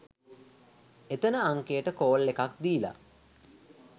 එතන අංකයට කෝල් එකක් දීල